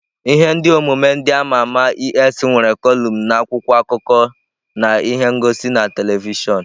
Ihe omume ndị ama ama es nwere kọlụm na akwụkwọ akụkọ na ihe ngosi na telivishọn.